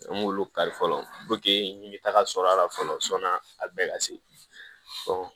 An b'olu kari fɔlɔ n ye taga sɔrɔ a la fɔlɔ sɔni a bɛɛ ka se